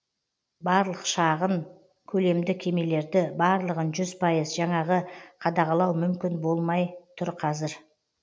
барлық шағын көлемді кемелерді барлығын жүз пайыз жаңағы қадағалау мүмкін болмай тұр қазір